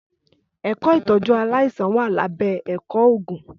Ẹkọ Ìtọjú àláisàn wà là bẹ Ẹkọ Ògún